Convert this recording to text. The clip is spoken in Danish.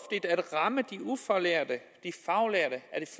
ramme de ufaglærte